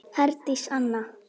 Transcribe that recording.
Herdís Anna.